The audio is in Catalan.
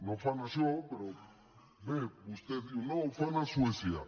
no fan això però bé vostè diu no ho fan a suècia